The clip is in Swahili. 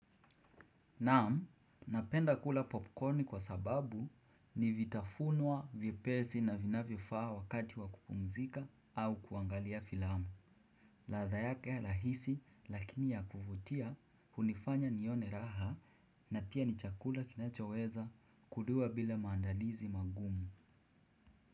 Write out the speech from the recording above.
Naam, napenda kula popcorni kwa sababu ni vitafunwa vipesi na vinavyo faa wakati wa kupumzika au kuangalia filamu. Laadha yake rahisi lakini ya kuvutia hunifanya nione raha na pia ni chakula kinachoweza kuduwa bila maandalizi magumu.